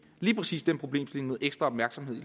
lige præcis den problemstilling ekstra opmærksomhed i